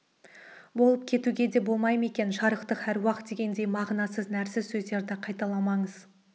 болып кетуге де болмай ма екен жарықтық әруақ дегендей мағынасыз нәрсіз сөздерді қайталамаңыз